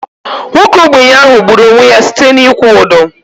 Nwoke ogbenye ahu gburu onwe ya site na ịkwụ ụdọ